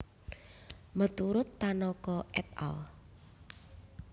Meturut Tanaka et al